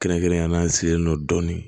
Kɛrɛnkɛrɛnnenya la an sigilen don dɔɔnin